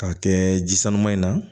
K'a kɛ ji sanuma in na